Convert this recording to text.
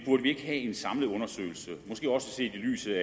ikke have en samlet undersøgelse måske også set i lyset